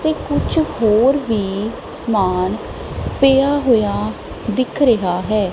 ਤੇ ਕੁਛ ਹੋਰ ਵੀ ਸਮਾਨ ਪਿਆ ਹੋਇਆ ਦਿੱਖ ਰਿਹਾ ਹੈ।